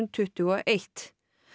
tuttugu og eitt